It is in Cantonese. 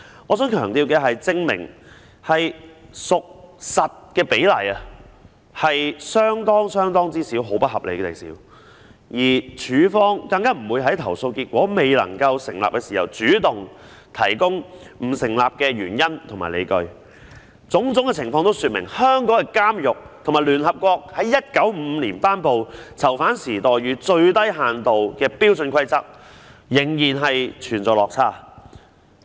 我想強調的是，"證明屬實"的個案比例是不合理地少，而署方更不會在投訴結果未能成立時主動提供不成立的原因和理據，種種情況均說明香港的監獄與聯合國在1955年頒布的《囚犯待遇最低限度標準規則》的要求仍然有落差。